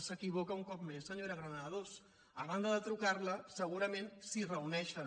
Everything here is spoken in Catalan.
s’equivoca un cop més senyora granados a banda de trucar li segurament s’hi reuneixen